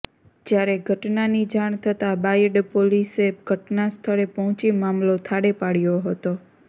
જ્યારે ઘટનાની જાણ થતાં બાયડ પોલીસે ઘટના સ્થળે પહોંચી મામલો થાળે પાડ્યો હતો